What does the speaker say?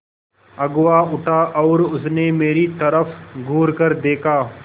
अगुआ उठा और उसने मेरी तरफ़ घूरकर देखा